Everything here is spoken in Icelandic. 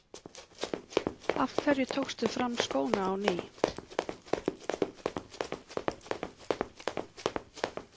Af hverju tókstu fram skóna á ný?